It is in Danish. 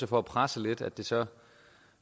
for at presse lidt at det så